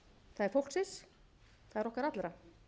það er fólksins það er okkar allra